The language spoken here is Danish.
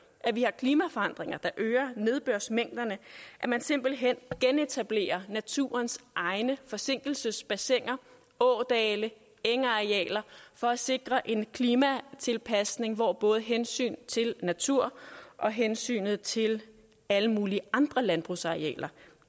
at vi har klimaforandringer der øger nedbørsmængderne at man simpelt hen genetablerer naturens egne forsinkelsesbassiner ådale engarealer for at sikre en klimatilpasning hvor både hensyn til natur og hensynet til alle mulige andre landbrugsarealer